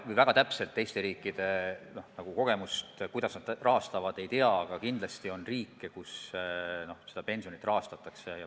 Ma väga täpselt teiste riikide kogemusi, kuidas nad rahastavad, ei tea, aga kindlasti on riike, kus seda pensionit rahastatakse.